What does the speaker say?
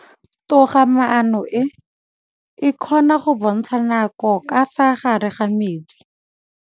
Toga-maanô e, e kgona go bontsha nakô ka fa gare ga metsi.